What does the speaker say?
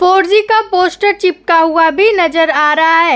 Four G का poster चिपका हुआ भी नजर आ रहा है।